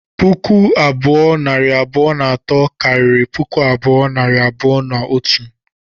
Puku abụọ, nari abụọ na atọ, karịrị puku abụọ, nari abụọ na otu